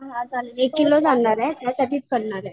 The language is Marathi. एक किलोच आणणारे